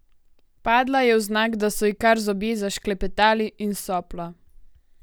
Padla je vznak, da so ji kar zobje zašklepetali, in sopla.